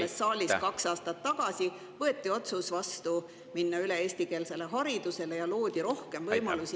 Siin saalis kaks aastat tagasi võeti vastu otsus minna üle eestikeelsele haridusele ja loodi rohkem võimalusi …